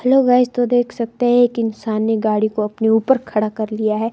Hello guys तो देख सकते हैं एक इंसानी ने गाड़ी को अपने ऊपर खड़ा कर लिया है।